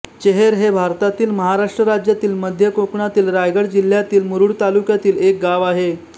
चेहेर हे भारतातील महाराष्ट्र राज्यातील मध्य कोकणातील रायगड जिल्ह्यातील मुरूड तालुक्यातील एक गाव आहे